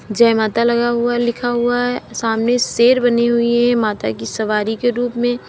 जय माता लगा हुआ लिखा हुआ है सामने शेर बनी हुई है माता की सवारी के रूप में।